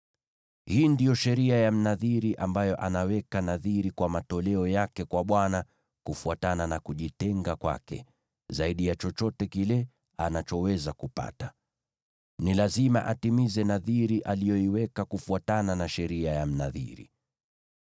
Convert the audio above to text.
“ ‘Hii ndiyo sheria ya Mnadhiri ambaye anaweka nadhiri kwa matoleo yake kwa Bwana kufuatana na kujitenga kwake, zaidi ya chochote kile anachoweza kupata. Ni lazima atimize nadhiri aliyoiweka kufuatana na sheria ya Mnadhiri.’ ”